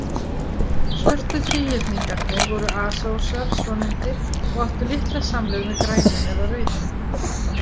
Svörtu þríhyrningarnir voru asósar svonefndir, og áttu litla samleið með grænum eða rauðum.